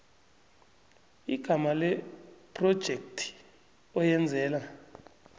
igama lephrojekhthi oyenzela